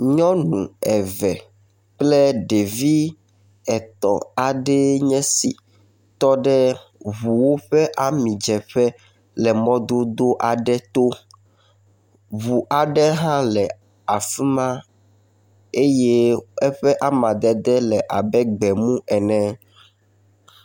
Nyɔnu eve kple ɖevi etɔ̃ aɖee nye esi tɔ ɖe ŋuwo ƒe amidzeƒe le mɔdodo aɖe to. Ŋu aɖe hã le afi ma eye eƒe amadede le abe gbemu ene.